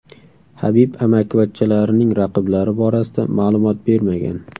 Habib amakivachchalarining raqiblari borasida ma’lumot bermagan.